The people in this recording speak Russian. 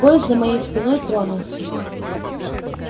поезд за моей спиной тронулся